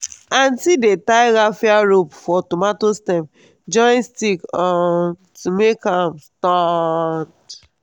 aunty dey tie raffia rope for tomato stem join stick um to make am stand.